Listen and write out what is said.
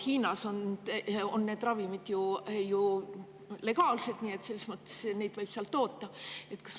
Hiinas on need ravimid ju legaalsed selles mõttes, et neid võib seal toota.